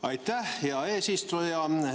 Aitäh, hea eesistuja!